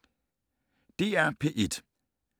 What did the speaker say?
DR P1